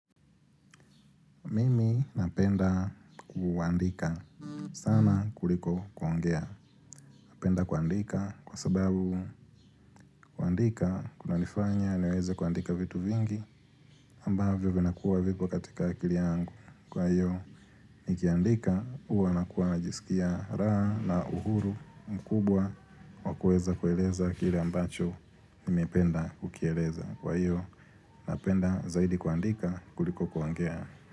Mimi napenda kuandika sana kuliko kuongea. Napenda kuandika kwa sababu kuandika kuna nifanya niweze kuandika vitu vingi ambavyo vinakuwa vipo katika akili yangu. Kwa hiyo nikiandika uwa nakuwa najiskia raha na uhuru mkubwa wa kueza kueleza kile ambacho nimependa kukieleza. Kwa hiyo napenda zaidi kuandika kuliko kuangea.